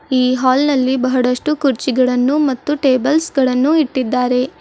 ಈ ಹಾಲ್ ನಲ್ಲಿ ಬಹಳಷ್ಟು ಕುರ್ಚಿಗಳನ್ನು ಮತ್ತು ಟೇಬಲ್ ಗಳನ್ನು ಇಟ್ಟಿದ್ದಾರೆ.